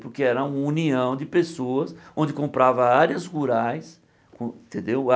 Porque era união de pessoas onde comprava áreas rurais, entendeu?